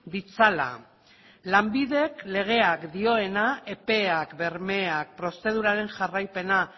ditzala lanbidek legeak dioena epeak bermeak prozeduraren jarraipena